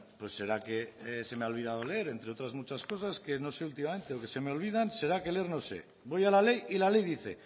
pues será que se me ha olvidado leer entre otras muchas cosas que no sé últimamente o que se me olvidan será que leer no sé voy a la ley y la ley dice